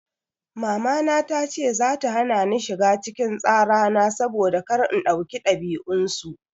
Mamana tace za ta hana ni shiga cikin tsara na saboda kar in dauki dabi'un su.